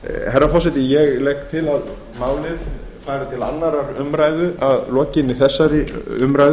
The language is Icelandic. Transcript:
herra forseti ég legg til að málið fari til annarrar umræðu að lokinni þessari umræðu